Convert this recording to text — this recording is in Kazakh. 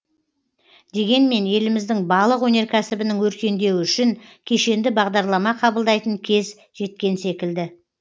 дегенмен еліміздің балық өнеркәсібінің өркендеуі үшін кешенді бағдарлама қабылдайтын кез жеткен секілді